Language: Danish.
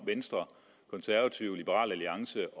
venstre konservative liberal alliance